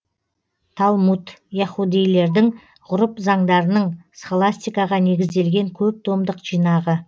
талмуд яһудейлердің ғұрып заңдарының схоластикаға негізделген көп томдық жинағы